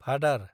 भादार